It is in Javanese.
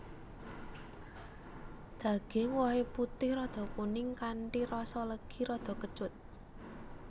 Daging wohé putih rada kuning kanthi rasa legi rada kecut